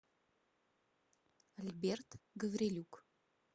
альберт гаврилюк